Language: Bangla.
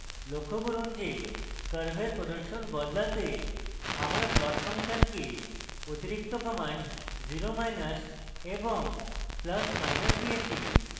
লক্ষ্য করুন যে curve প্রদর্শন বদলাতে আমার plot ফাংশনকে অতিরিক্ত commands 0জিরো মাইনাস এবং +প্লাস মাইনাস দিয়েছি